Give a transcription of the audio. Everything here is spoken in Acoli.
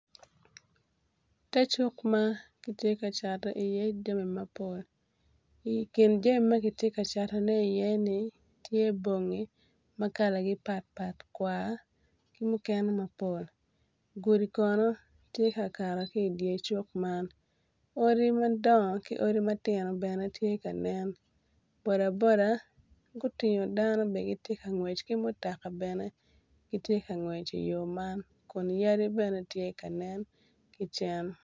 Te cuk ma ki tye ka Cato iye jami mapol I kin jami ma gitye ka catone iye-ni tye bongi ma kalagi pat pat kwar ki mukene mapol gudi Kono tye ka kato ki idye cuk man odi madongo ki odi matino bene tye ka nen boda boda gutingo dano giti ka ngwec ki mutaka bene gitye ka ngwec i yo man Kun yadi bene tye ka nen ki cen